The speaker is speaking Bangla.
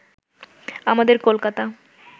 আমাদের কলকাতা